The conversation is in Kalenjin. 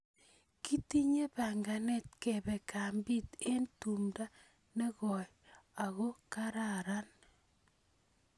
Kitinye panganet kepe kambit eng' tumndo ne koi ako kararan.